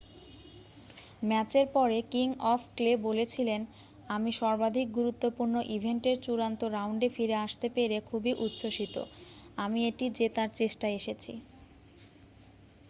"ম্যাচের পরে King of Clay বলেছিলেন "আমি সর্বাধিক গুরুত্বপূর্ণ ইভেন্টের চূড়ান্ত রাউন্ডে ফিরে আসতে পেরে খুবই উচ্ছ্বসিত। আমি এটি জেতার চেষ্টায় এসেছি।""